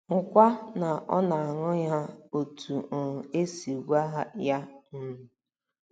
Hụkwa na ọ na - aṅụ ha otú um e si gwa ya um.